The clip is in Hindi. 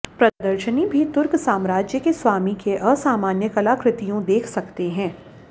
प्रदर्शनी भी तुर्क साम्राज्य के स्वामी के असामान्य कलाकृतियों देख सकते हैं